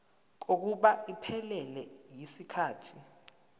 kokuba iphelele yisikhathi